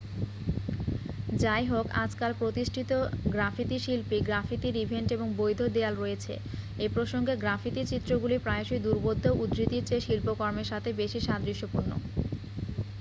"যাইহোক আজকাল প্রতিষ্ঠিত গ্রাফিতি শিল্পী গ্রাফিতির ইভেন্ট এবং "বৈধ" দেয়াল রয়েছে। এই প্রসঙ্গে গ্রাফিতি চিত্রগুলি প্রায়শই দুর্বোধ্য উদ্ধৃতির চেয়ে শিল্পকর্মের সাথে বেশি সাদৃশ্যপূর্ণ।